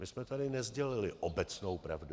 My jsme tady nesdělili obecnou pravdu.